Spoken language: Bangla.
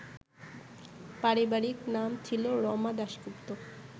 পারিবারিক নাম ছিল রমা দাশগুপ্ত